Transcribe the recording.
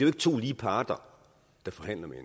ikke to lige parter der forhandler med